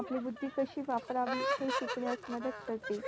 आपली बुद्धी कशी वापरावी हे शिकण्यास मदत करते.